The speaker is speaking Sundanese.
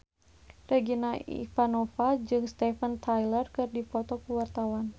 Regina Ivanova jeung Steven Tyler keur dipoto ku wartawan